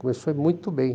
Começou muito bem.